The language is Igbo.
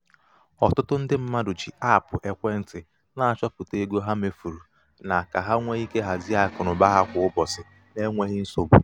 ọtụtụ ndị mmadụ ji apụ ekwentị na-achopụta ego ha mefuru na ka ha nwee ike hazie akụnaụba ha kwa ụbọchị. n'enweghị nsogbu.